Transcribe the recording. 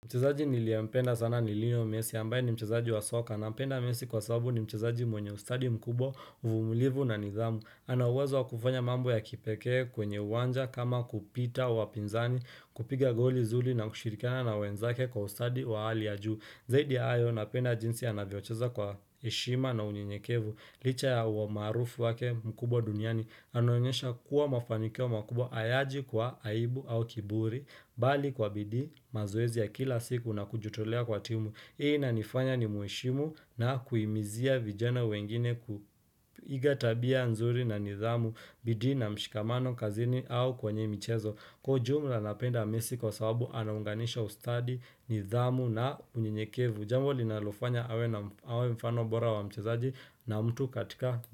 Mchezaji niliyempenda sana ni lionel messi ambaye ni mchezaji wa soka, nampenda messi kwa sababu ni mchezaji mwenye ustadi mkubwa, uvumilivu na nidhamu. Ana uwezo wakufanya mambo ya kipekee kwenye uwanja kama kupita wapinzani, kupiga goli zuri na kushirikiana na wenzake kwa ustadi wa hali ya juu. Zaidi ya hayo napenda jinsi anavyocheza kwa heshima na unyenyekevu. Licha ya huo umaarufu wake mkubwa duniani, anaonyesha kuwa mafanikio makubwa hayaji kwa aibu au kiburi Bali kwa bidii mazoezi ya kila siku na kujitolea kwa timu, hii inanifanya nimheshimu na kuhimizia vijana wengine kuiga tabia nzuri na nidhamu, bidii na mshikamano kazini au kwanye mchezo Kwa ujumla nampenda messi kwa sababu anaunganisha ustadi nidhamu na unyenyekevu, jambo linalofanya awe mfano bora wa mchezaji na mtu katika.